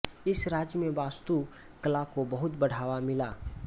इस राज्य में वास्तु कला को बहुत बढावा मिला